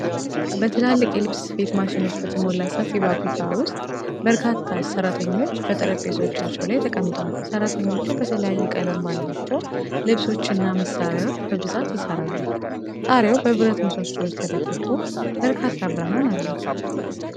በትላልቅ የልብስ ስፌት ማሽኖች በተሞላ ሰፊ ፋብሪካ ውስጥ በርካታ ሰራተኞች በየጠረጴዛዎቻቸው ላይ ተቀምጠዋል። ሰራተኞቹ በተለያየ ቀለም ባላቸው ልብሶችና መሣሪያዎች በብዛት ይሠራሉ፤ ጣሪያው በብረት ምሰሶዎች ተደግፎ በርካታ ብርሃን አለው።